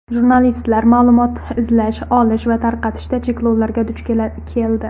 Jurnalistlar ma’lumot izlash, olish va tarqatishda cheklovlarga duch keldi.